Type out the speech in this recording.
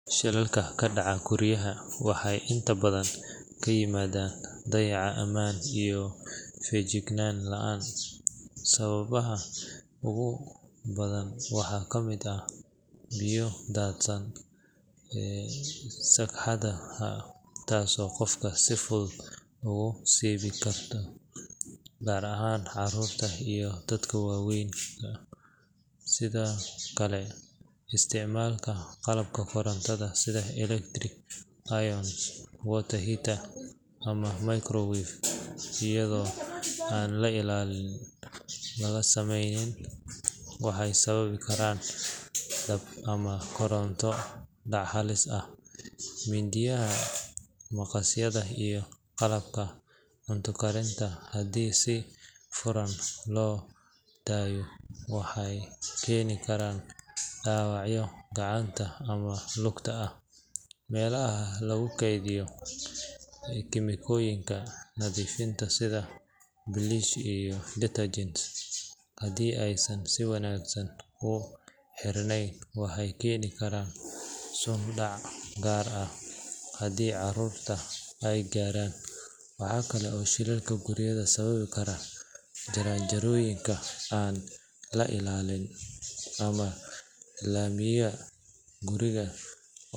Shilalka ka dhaca guryaha waxay inta badan ka yimaadaan dayacaad ammaan iyo feejignaan la’aan. Sababaha ugu badan waxaa ka mid ah biyo daadsan sagxadaha taasoo qofka si fudud ugu siibi karta, gaar ahaan carruurta iyo dadka waayeelka ah. Sidoo kale, isticmaalka qalabka korontada sida electric iron, water heater ama microwave iyadoo aan ilaalin laga sameynin waxay sababi karaan dab ama koronto dhac halis ah. Mindiyaha, maqasyada, iyo qalabka cunto karinta haddii si furan loo daayo waxay keeni karaan dhaawacyo gacanta ama lugta ah. Meelaha lagu kaydiyo kiimikooyinka nadiifinta sida bleach iyo detergents haddii aysan si wanaagsan u xirnayn waxay keeni karaan sun dhac gaar ahaan haddii caruurta ay gaaraan. Waxaa kale oo shilalka guriga sababi kara jaranjarooyin aan la ilaalin ama laamiga guriga.